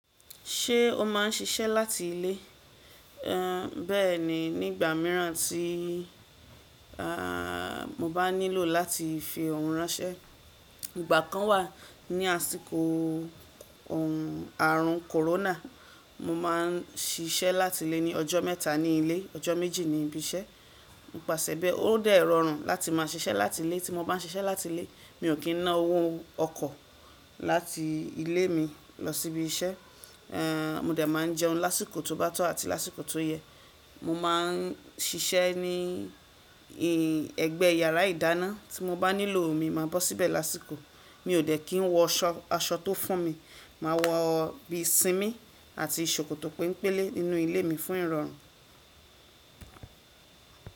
Ṣé o máà ń ṣiṣẹ́ láti ilé? Ehn, bẹẹni, nígbà míràn tí ahn, mo bá nílò láti fi ọ̀hùn ránṣẹ́. Ìgbà kan wà ní àsìkò ọ̀rùn, àrùn corona, mo máa ń ṣiṣẹ́ láti ilé ní ọjọ́ mẹ́ta ní ilé, ọjọ́ méjì ní ibi iṣẹ́. Nipàṣẹ bẹ́ẹ̀, ó dẹ̀ rọrùn láti máa ṣiṣẹ́ láti ilé. Tí mo bá n ṣe iṣẹ́ láti ilé, mi ò kí n ná owó ọkọ̀ láti ilé mi lọ sí ibi iṣẹ́. Ehn, mo dẹ̀ máa ń jẹun lásìkò tó bá tó àti lásìkò tó yẹ. Mo máa ń ṣiṣẹ́ ní ì, ẹgbẹ yàrá ìdáná. Tí mo bá nílò omi, màá bó síbẹ̀ lásìkò. Mi ò dẹ̀ kín wọ aṣọ, aṣọ tó fún mi. Màá wọ bí simí àti ṣòkòtò penpélé nínú ilé mi fún ìrọ̀rùn.